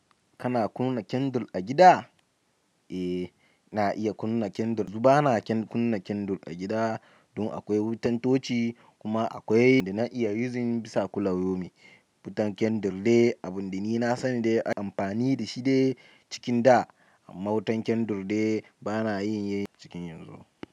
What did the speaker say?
Kana kunna Kendle a gida? Eh ina iya kendle yanzu bana kunna Kendle a gida don akwai wutan dutsi kuma akwai da na iya using bisa kullu yau min. Wutan Kindle dai abinda ni na sani dai amfani dashi cikin da amma wutan Kindle dai ba na yin yi cikin yanzu.